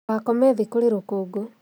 Ndũgakome thĩ kurĩ rũkũngũ